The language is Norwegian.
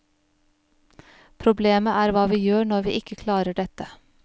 Problemet er hva vi gjør når vi ikke klarer dette.